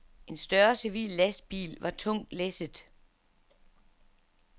En større civil lastbil var tungt læsset.